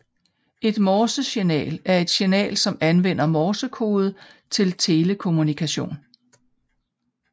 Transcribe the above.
Et Morsesignal er et signal som anvender Morsekode til telekommunikation